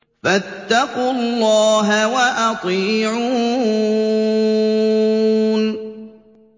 فَاتَّقُوا اللَّهَ وَأَطِيعُونِ